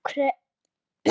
Af hverju dreymir mann?